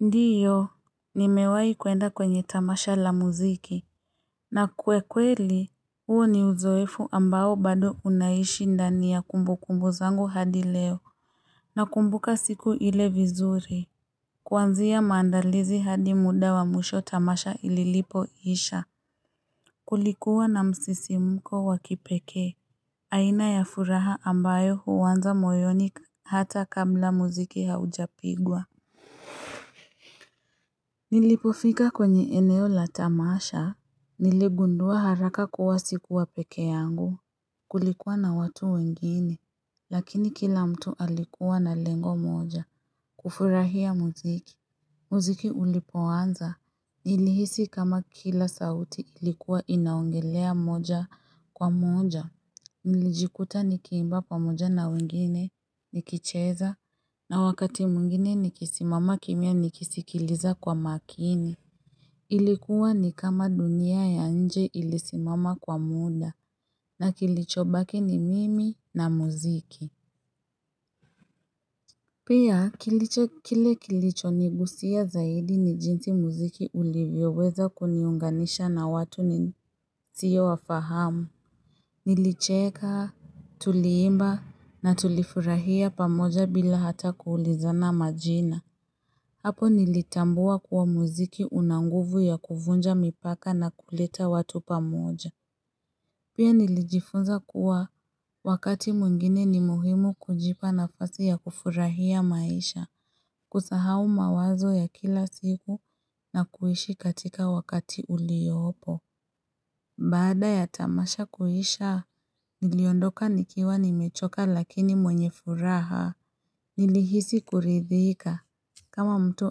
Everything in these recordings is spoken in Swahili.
Ndiyo nimewahi kuenda kwenye tamasha la muziki na kwa kweli huo ni uzoefu ambao bado unaishi ndania ya kumbukumbu zangu hadi leo Nakumbuka siku ile vizuri Kuanzia maandalizi hadi muda wa mwisho tamasha ilipo isha Kulikuwa na msisimko wa kipekee aina ya furaha ambayo huanza moyoni hata kabla muziki haujapigwa Nilipofika kwenye eneo la tamasha, niligundua haraka kuwa sikuwa peke yangu kulikuwa na watu wengine, lakini kila mtu alikuwa na lengo moja kufurahia muziki. Muziki ulipoanza, nilihisi kama kila sauti ilikuwa inaongelea moja kwa moja, nilijikuta nikiimba pamoja na wengine nikicheza, na wakati mwingine nikisimama kimya nikisikiliza kwa makini. Ilikuwa ni kama dunia ya nje ilisimama kwa muda, na kilichobaki ni mimi na muziki. Pia kile kilichoniguza zaidi ni jinsi muziki ulivyoweza kuniunganisha na watu nisiyowafahamu. Nilicheka, tuliimba na tulifurahia pamoja bila hata kuulizana majina. Hapo nilitambua kuwa muziki una nguvu ya kuvunja mipaka na kuleta watu pamoja. Pia nilijifunza kuwa wakati mwingine ni muhimu kujipa nafasi ya kufurahia maisha. Kusahau mawazo ya kila siku na kuishi katika wakati uliyopo. Baada ya tamasha kuisha, niliondoka nikiwa nimechoka lakini mwenye furaha nilihisi kuridhika. Kama mtu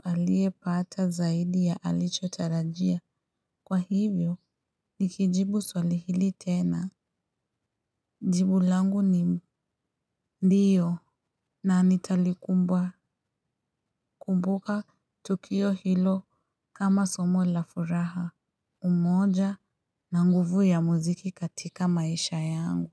aliyepata zaidi ya alichotarajia. Kwa hivyo, nikijibu swali hili tena. Jibu langu ni ndiyo na nitalikumbuka tukio hilo kama somo la furaha. Umoja na nguvu ya muziki katika maisha yangu.